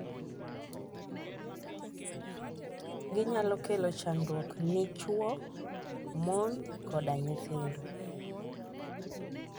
ginyalo kelo chandruok ni chuo, mon koda nyithindo